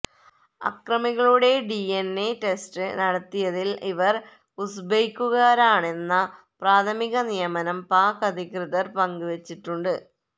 അക്രമികളുടെ D N A test നടത്തിയതില് ഇവര് ഉസ്ബെക്കുകാരാണെന്ന പ്രാഥമിക നിഗമനം പാക് അധികൃതര് പങ്ക് വെച്ചിട്ടുണ്ട്